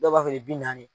Dɔw b'a feere bi naani